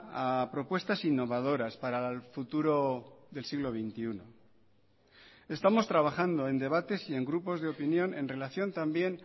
a propuestas innovadoras para el futuro del siglo veintiuno estamos trabajando en debates y en grupos de opinión en relación también